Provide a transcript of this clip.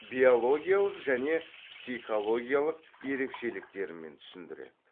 биологиялық және психологиялық ерекшеліктермен түсіндіреді